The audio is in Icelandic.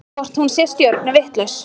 Hvort hún sé stjörnuvitlaus?